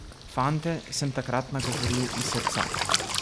Fante sem takrat nagovoril iz srca.